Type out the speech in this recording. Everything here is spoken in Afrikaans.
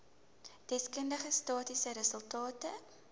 deskundige statistiese resultate